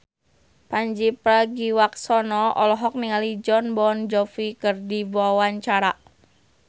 Pandji Pragiwaksono olohok ningali Jon Bon Jovi keur diwawancara